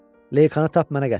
Leykanı tap mənə gətir!